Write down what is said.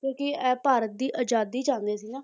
ਕਿਉਂਕਿ ਇਹ ਭਾਰਤ ਦੀ ਆਜ਼ਾਦੀ ਚਾਹੁੰਦੇ ਸੀ ਨਾ